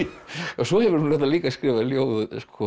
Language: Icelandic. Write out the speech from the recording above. svo hefurðu reyndar líka skrifað ljóð